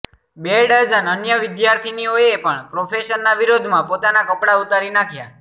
બે ડઝન અન્ય વિદ્યાર્થીનીઓએ પણ પ્રોફેસરના વિરોધમાં પોતાના કપડા ઉતારી નાખ્યા